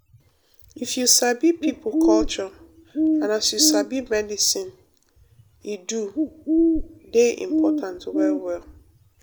if you sabi pipo culture and as you sabi medicine e do dey important well well.